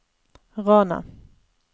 Rana